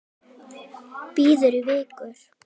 Böddi í Vigur.